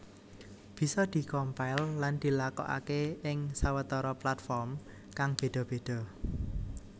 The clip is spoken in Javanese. Bisa di compile lan dilakokaké ing sawetara platform kang béda béda